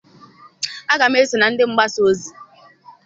Aga m eso na ndị mgbasa ozi.